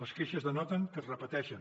les queixes denoten que es repeteixen